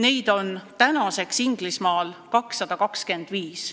Neid on tänaseks Inglismaal 225.